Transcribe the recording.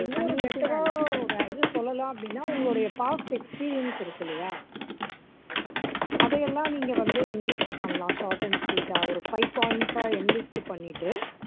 இன்னொரு better ஆ ஒரு இது சொல்லலாம் அப்படின்னா உங்களுடைய past experience இருக்கு இல்லையா அதை எல்லாம் நீங்க வந்து enlist பண்ணலாம் short and sweet ஆ ஒரு five points ஆ enlist பண்ணிட்டு